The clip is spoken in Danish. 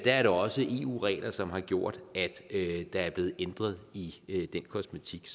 er det også eu regler som har gjort at der er blevet ændret i den kosmetik